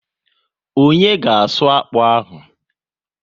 Onye ga asụ akpụ ahụ?